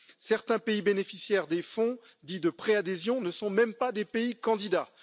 Certains pays bénéficiaires des fonds, dits de préadhésion, ne sont même pas des pays candidats.